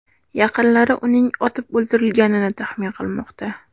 Yaqinlari uning otib o‘ldirilganini taxmin qilmoqda .